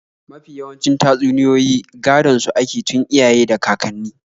Mafi yawancin tatsuniyoyi gadon su ake tun iyaye da kakanni.